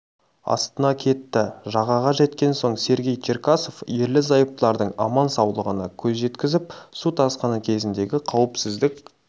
астына кетті жағаға жеткен соң сергей черкасов ерлі-зайыптылардың аман-саулығына көз жеткізіп су тасқыны кезіндегі қауіпсіздік